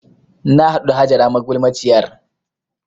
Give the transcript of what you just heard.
Na haɗu da Hajara magulmaciyar